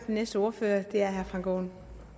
næste år år